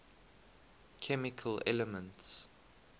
chemical elements